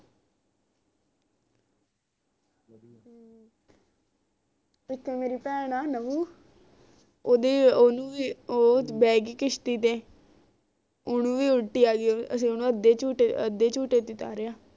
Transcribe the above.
ਇਕ ਮੇਰੀ ਬਹਿਣ ਆ ਨਵੁ ਓਹਦੇ ਓਹਨੂੰ ਵੀ ਉਹ ਬਹਿ ਗਈ ਕਿਸ਼ਤੀ ਤੇ ਓਹਨੂੰ ਵੀ ਉਲਟੀ ਆ ਗਈ ਉਹ ਵੀ ਅਸੀਂ ਉਹਨੂੰ ਅੱਦੇ ਝੂੱਟੇ ਅੱਦੇ ਝੂੱਟੇ ਤੇ ਤਾਰਿਆ